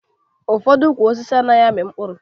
Ụfọdụ ukwu osisi anaghị amị mkpụrụ